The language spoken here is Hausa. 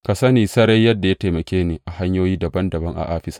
Ka sani sarai yadda ya taimake ni a hanyoyi dabam dabam a Afisa.